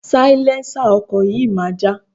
Sailẹ́ńsà ọkọ̀ yìí máa já.